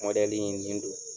Mɔdɛli in nin do.